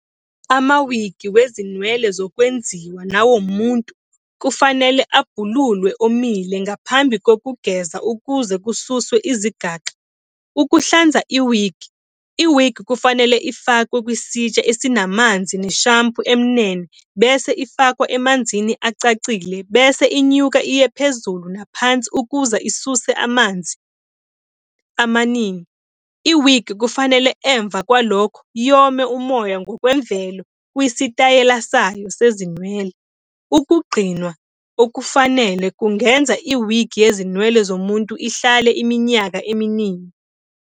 Ama-wigi wezinwele zokwenziwa nawomuntu kufanele abhululwe omile ngaphambi kokugeza ukuze kususwe izigaxa. Ukuhlanza i-wig, i-wig kufanele ifakwe kwisitsha esinamanzi ne-shampoo emnene, bese ifakwa emanzini acacile bese inyuka iye phezulu naphansi ukuze isuse amanzi amaningi. Iwigi kufanele emva kwalokho yome umoya ngokwemvelo kwisitayela sayo sezinwele. Ukugcinwa okufanele kungenza iwigi yezinwele zomuntu ihlale iminyaka eminingi.